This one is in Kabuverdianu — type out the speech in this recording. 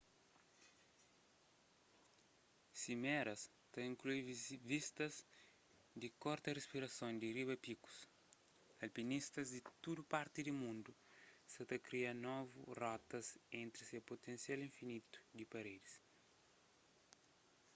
simeras ta inklui vistas di korta rispirason di riba pikus alpinistas di tudu parti di mundu sa ta kria novu rotas entri se putensial infinitu di paredis